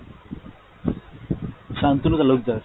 Santanu Talukdar.